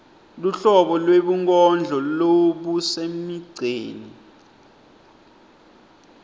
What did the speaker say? luhlobo lwebunkondlo lobusemigceni